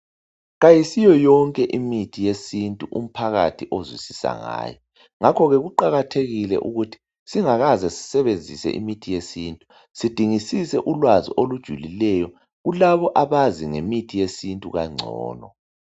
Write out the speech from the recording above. Kayisiyo yonke imithi yesintu umphakathi ozwisisa ngayo ngakho ke kuqakathekile ukuthi singakaze sisebenzise imithi yesintu sidingisise ulwazi olujulileyo kulabo abazi ngemithi yesintu kangcono.